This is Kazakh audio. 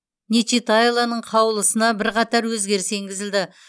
нечитайлоның қаулысына бірқатар өзгеріс енгізілді